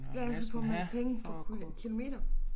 Ja så får man penge for kilometer